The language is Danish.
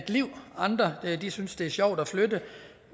liv andre synes det er sjovt at flytte